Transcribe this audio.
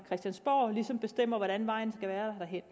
christiansborg bestemmer hvordan vejen derhen